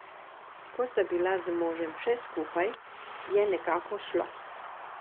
Ko sta bila z možem še skupaj, je nekako šlo.